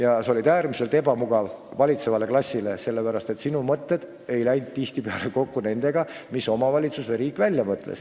Aga sa olid äärmiselt ebamugav valitsevale klassile, sest sinu mõtted ei läinud tihtipeale kokku nendega, mis omavalitsus ja riik välja mõtles.